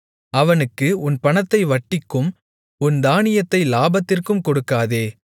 அவனுக்கு உன் பணத்தை வட்டிக்கும் உன் தானியத்தை லாபத்திற்கும் கொடுக்காதே